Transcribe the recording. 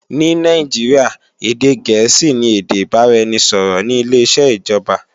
Ní Nàìjíríà, èdè gẹ̀ẹ́sì ni èdè ìbáraẹnisọ̀rọ̀ ní ileṣẹ́ ìjọba